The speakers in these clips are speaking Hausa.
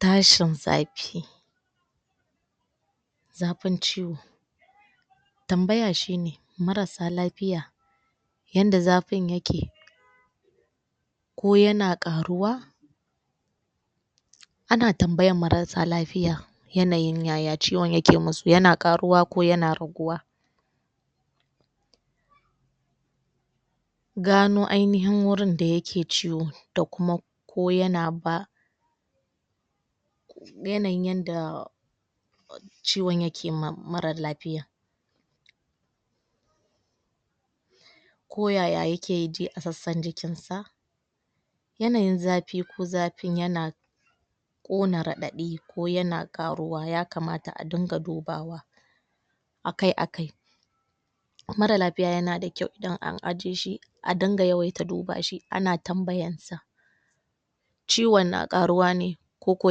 tashin zafi zafin ciwo tambaya shine marasa lafiya yanda zafin yake koyana ƙaruwa ana tambayan marasa lafiya yanayin yaya ciwon yake musu, yana ƙaruwa ko yana raguwa gano ainihin gurin da yake ciwo da kuma ko yana ba yanayin yanda ciwon yake ma mara lafiya ko yaya yake ji a sassan jikin sa yanayin zafi ko zafin yana ƙona radai ko yan ƙaruwa ya kamata adinga dubawa akai akai mara lafiya yanada kyau idan an ajiye shj a dinga yawaita dubashi ana tambayan sa ciwon na ɗaruwa ne koko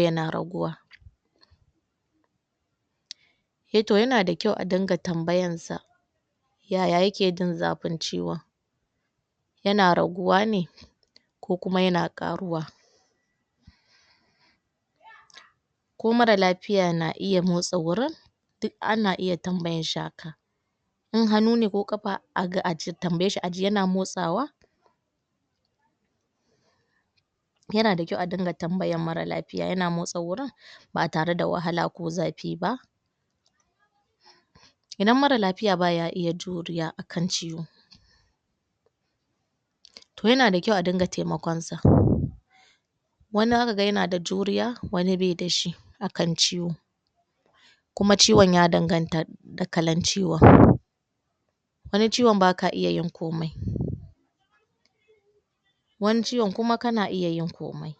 yana raguwa eeh to yanada kyau a dinga tambayansa yaya yake jin zafin ciwon yana raguwa ne ko kuma yana ƙaruwa ko mara lafiya na iya motsa wurin duk ana iya tambayan shi haka in hanu ne ko ƙafa a tambayeshi aji ko yana iya motsawa yana da kyau a dinga tambayan mara lafiya yana motsa wurin batare da wahala ko zafi ba idan mara lafiya baya juriya akan ciwo yana da kyau a dinga taimakon sa wani dakaga yanada juriya wani bai da shi akan ciwo kuma ciwon ya danganta da kalan ciwon wani ciwon baka iya yin komai wani ciwon kuma kana iya yin komai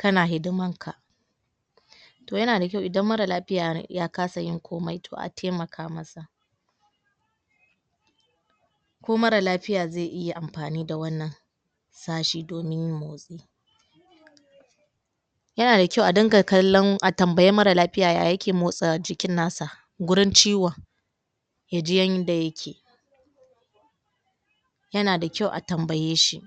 kana hidiman ka to yanada kyau idan mara lafiya yakasa yin komai a taimaka masa ko mara lafiya zai iya anfani da wannan sa shi domin yin motsi yanada kyau adinga kallon, a tambayi mara lafiya yaya yake motsa jikin nasa gurin ciwon yajin yanda yake yanada kyau a tambaye shi